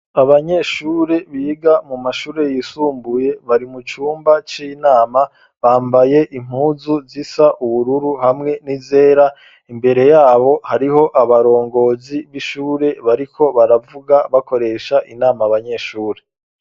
Abanyeshure biga mu mashure yisumbuye ,bari mu cumba c'inama bambaye impuzu zisa ubururu ,hamwe n'izera ,imbere yabo hariho abarongozi b'ishure bariko baravuga bakoresha inama Abanyeshuri.